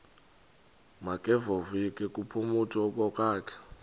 makevovike kumphuthumi okokwakhe